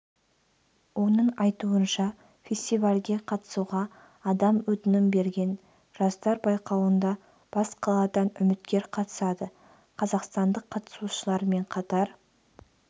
оның айтуынша фестивальге қатысуға адам өтінім берген жастар байқауында бас қаладан үміткер қатысады қазақстандық қатысушылармен қатар